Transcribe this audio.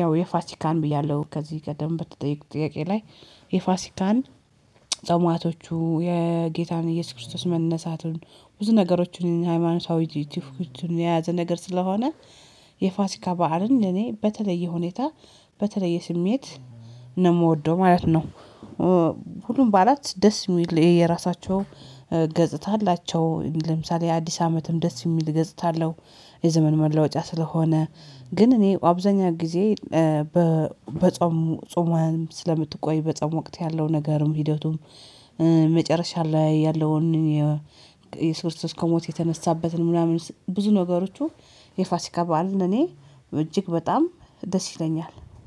ያው የፋሲካን ብያለሁ ከዚህ ቀደም በተጠየኩት ጥያቄ ላይ የፋሲካን ጾማቶቹ የጌታን ኢየሱስ ክርስቶስ መነሳቱን ብዙ ነገሮችን ሃይማኖታዊ ቱፊቶችን የያዘ ነገር ስለሆነ የፋሲካ በዓልን እኔ በተለየ ሁኔታ በተለየ ስሜት ነው እምወደው ማለት ነው። ኧ ሁሉም በዓላት ደስ እሚል የየራሳቸው ገጽታ አላቸው ለምሳሌ አዲስ አመትም ደስ የሚል ገጽታ አለው። የዘመን መለወጫ ስለሆነ ግን እኔ ኦ አብዛኛው ጊዜ ኧ በ በጾም ፁመህም ስለምትቆይ በጾም ወቅት ያለው ነገርም ሂደቱም ኧ መጨረሻ ላይ ያለውን የ ኢየሱስ ክርስቶስ ከሞት የተነሳበትን ምናምን ብዙ ነገሮቹ የፋሲካ በዓል ለእኔ እጅግ በጣም ደስ ይለኛል